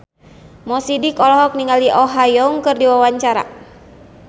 Mo Sidik olohok ningali Oh Ha Young keur diwawancara